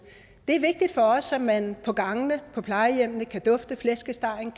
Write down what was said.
det er vigtigt for os at man på gangene på plejehjemmene kan dufte flæskestegen